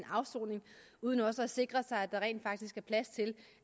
afsoning uden også at sikre sig at der rent faktisk er plads til